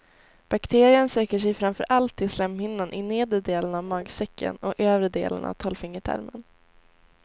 Bakterien söker sig framför allt till slemhinnan i nedre delen av magsäcken och övre delen av tolvfingertarmen.